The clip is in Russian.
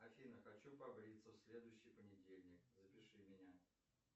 афина хочу побриться в следующий понедельник запиши меня